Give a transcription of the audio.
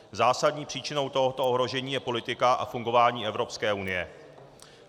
Zásadní příčinou tohoto ohrožení je politika a fungování Evropské unie.